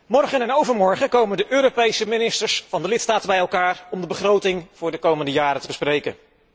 Morgen en overmorgen komen de Europese ministers van de lidstaten bij elkaar om de begroting voor de komende jaren te bespreken.